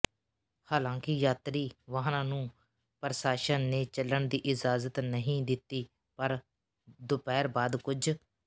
ਹਾਲਾਂਕਿ ਯਾਤਰੀ ਵਾਹਨਾਂ ਨੂੰ ਪ੍ਰਸ਼ਾਸਨ ਨੇ ਚੱਲਣ ਦੀ ਇਜਾਜ਼ਤ ਨਹੀਂ ਦਿੱਤੀ ਪਰ ਦੁਪਹਿਰ ਬਾਅਦ ਕੁਝ